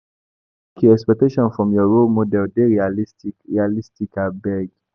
Make your expectations from your role model dey realistic abeg.